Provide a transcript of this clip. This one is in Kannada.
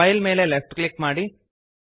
ಫೈಲ್ ಮೇಲೆ ಲೆಫ್ಟ್ ಕ್ಲಿಕ್ ಮಾಡಿ